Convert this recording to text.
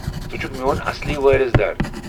ژٕے چھُکھ میون اصلی وٲرِث در۔